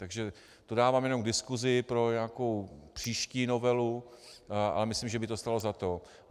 Takže to dávám jen k diskusi pro nějakou příští novelu, ale myslím, že by to stálo za to.